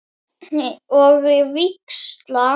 Og víxla?